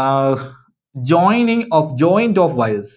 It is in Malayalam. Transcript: Ah joining of, joint of wires.